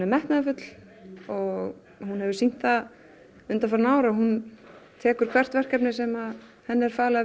metnaðarfull og hún hefur sýnt það undanfarin ár að hún tekur hvert verkefni sem henni er falið